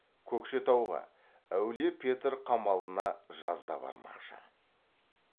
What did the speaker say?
көкшетауға әулие петр қамалына жазда бармақшы